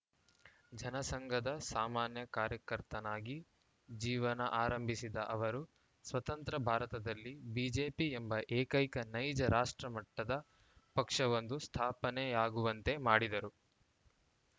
ಜನಸಂಘದ ಸಾಮಾನ್ಯ ಕಾರ್ಯಕರ್ತನಾಗಿ ಜೀವನ ಆರಂಭಿಸಿದ ಅವರು ಸ್ವತಂತ್ರ ಭಾರತದಲ್ಲಿ ಬಿಜೆಪಿ ಎಂಬ ಏಕೈಕ ನೈಜ ರಾಷ್ಟ್ರ ಮಟ್ಟದ ಪಕ್ಷವೊಂದು ಸ್ಥಾಪನೆಯಾಗುವಂತೆ ಮಾಡಿದರು